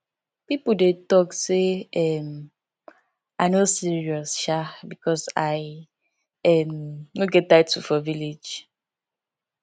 people dey talk say um i no serious um because i um no get title for village